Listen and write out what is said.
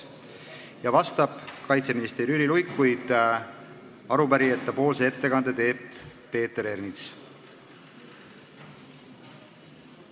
Vastab kaitseminister Jüri Luik, arupärijatepoolse ettekande teeb Peeter Ernits.